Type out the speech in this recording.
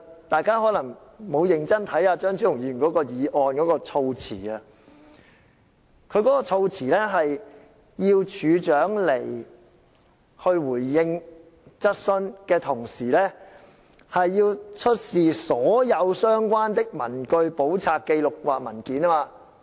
大家可能沒有認真細閱張超雄議員這項議案的措辭，當中要求署長在前來立法會回應質詢的同時，也要出示所有相關的文據、簿冊、紀錄或文件。